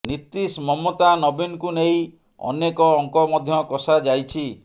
ନୀତିଶ ମମତା ନବୀନଙ୍କୁ ନେଇ ଅନେକ ଅଙ୍କ ମଧ୍ୟ କଷାଯାଇଛି